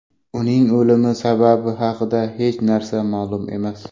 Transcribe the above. Uning o‘limi sababi haqida hech narsa ma’lum emas.